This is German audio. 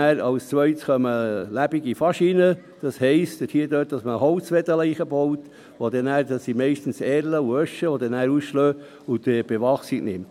Als zweites kommen lebendige Faschinen, das heisst, dass man Reisigbündel hineinbaut, meistens Erlen und Eschen, die dann ausschlagen und die Bewachsung machen.